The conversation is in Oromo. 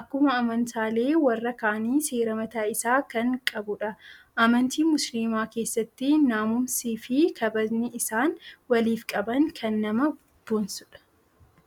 akkuma amantaalee warra kaanii seera mataa isaa kan qabdudha. Amantii musilimaa keessatti naamusnii fi kabajni isaan waliif qaban kan nama bonsudha.